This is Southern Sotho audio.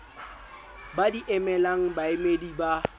ba di emelang baemedi ba